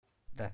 да